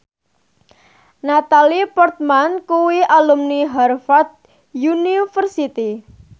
Natalie Portman kuwi alumni Harvard university